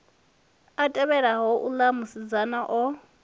a tevhelaho uḽa musidzana o